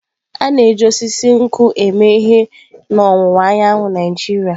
A na-eji osisi nkwụ eme ihe n'ọwụwa anyanwụ Naijiria.